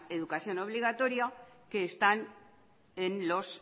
educación obligatoria que están en los